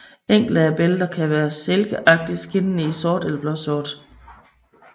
Enkelte af bælterne kan være silkeagtigt skinnende i sort eller blåsort